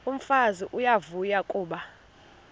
umfazi uyavuya kuba